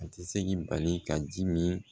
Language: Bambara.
A tɛ se k'i bali ka ji min